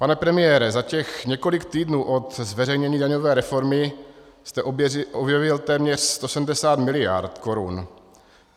Pane premiére, za těch několik týdnů od zveřejnění daňové reformy jste objevil téměř 170 miliard korun.